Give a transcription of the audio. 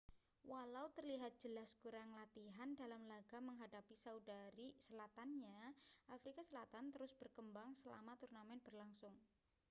walau terlihat jelas kurang latihan dalam laga menghadapi saudari selatannya afrika selatan terus berkembang selama turnamen berlangsung